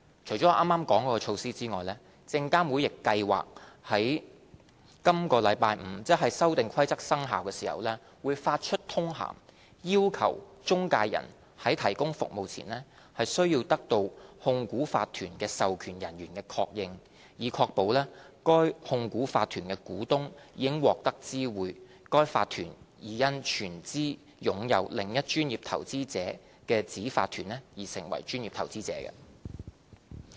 除剛才所述的措施外，證監會亦計劃於本周五，即《修訂規則》生效時，發出通函，要求中介人在提供服務前，需得到控股法團的授權人員的確認，以確保該控股法團的股東已獲得知會該法團已因全資擁有另一專業投資者子法團而成為專業投資者。